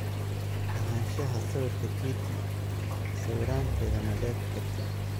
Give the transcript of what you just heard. Lahaanshaha sawirka Getty sawiranteda Ma dhaafi kartid!